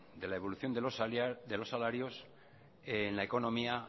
de la evolución de los salarios en la economía